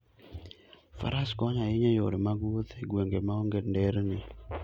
Faras konyo ahinya e yore mag wuoth e gwenge maonge nderni.